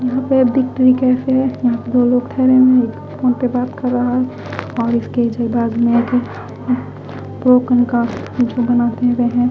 यह पे victory cafe हैं यह पे दो लोग थड़े है एक फ़ोन पे बात कर रहा हैं और एक केजी बाग़ में आगि ब्रोकन का वुज़ू बनाते हुए हैं।